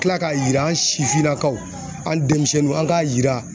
Kila k'a jira an sifinnakaw an denmisɛnninw an k'a yira